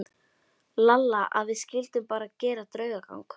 Lalla að við skyldum bara gera draugagang.